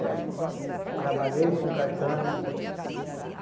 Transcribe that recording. É. Trabalhei com castanha.